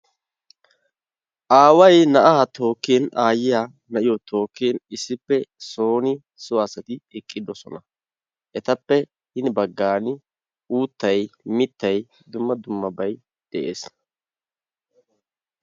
Aaway na'aa tookkin aayiya na'iyo tookkin issippe sooni so asati eqqidosona. Etappe hini baggaan uuttay mittay dumma dummabay de'ees.